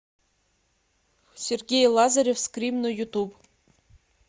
сергей лазарев скрим на ютуб